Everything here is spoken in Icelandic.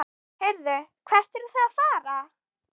Heyrðu, hvert eruð þið að fara?